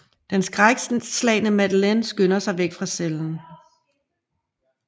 Den skrækslagne Madeleine skynder sig væk fra cellen